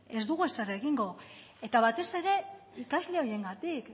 ez dugu ezer egingo eta batez ere ikasle horiengatik